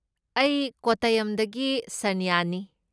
ꯑꯩ ꯀꯣꯠꯇꯌꯝꯗꯒꯤ ꯁꯔꯅ꯭ꯌꯅꯤ꯫